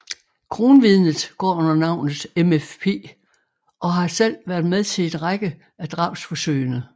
Kronvidnet går under navnet MFP og har selv været med til en række af drabsforsøgene